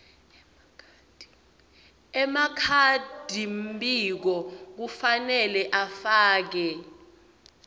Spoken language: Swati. emakhadimbiko kufanele afake